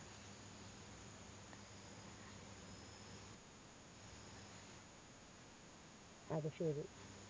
അത് ശരി